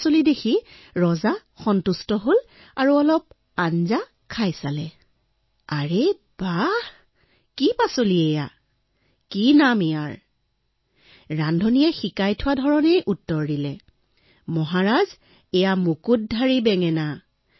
ৰজাই আঙুলি চেলেকি সন্তুষ্ট হৈ ৰান্ধনিক মাতি পঠিয়ালে আৰু সুধিলে আৰু এই খাদ্যবিধৰ নাম কি ৰান্ধনিক যিদৰে শিকোৱা হৈছিল সেইদৰেই উত্তৰ দি কলে মহাৰাজ এয়া মুকুটধাৰী বেঙেনা